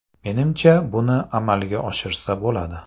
Menimcha, buni amalga oshirsa bo‘ladi.